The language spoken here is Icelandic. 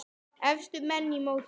Efstu menn í mótinu